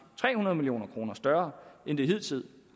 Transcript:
tre hundrede million kroner større end det hidtil